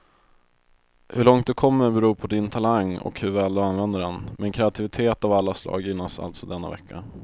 Hur långt du kommer beror på din talang och hur väl du använder den, men kreativitet av alla slag gynnas alltså denna vecka.